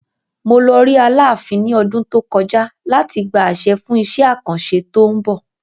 Mo lọ rí aláàfin ní ọdún tó kọjá láti gba àṣẹ fún isẹ́ àkàn ṣẹ́ tó ń bọ̀.